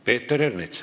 Peeter Ernits.